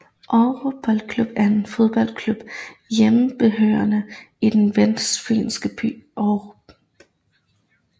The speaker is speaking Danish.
Aarup Boldklub er en fodboldklub hjemmehørende i den vestfynske by Aarup